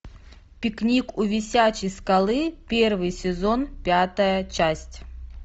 пикник у висячей скалы первый сезон пятая часть